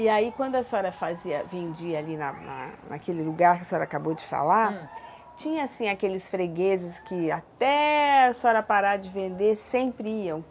E aí quando a senhora fazia, vendia ali na na naquele lugar que a senhora acabou de falar, tinha assim aqueles fregueses que até a senhora parar de vender sempre iam?